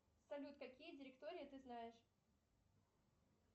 салют какие директории ты знаешь